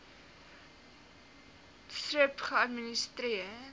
thrip geadministreer